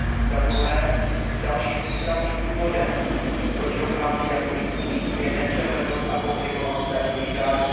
Za druhé, dalším významným důvodem, proč dochází k daňovým únikům, je nepřehlednost a komplikovanost daňových řádů.